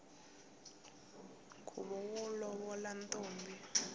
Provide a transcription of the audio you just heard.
nkhuvo wo lovola ntombi